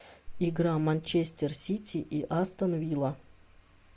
игра манчестер сити и астон вилла